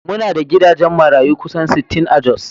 Muna da gidajen marayu kusan sittin a Jos